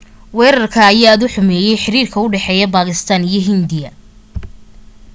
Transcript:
wareerka ayaa aad u xumeye xiriirka u dhaxeya bakistan iyo hindiya